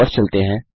वापस चलते हैं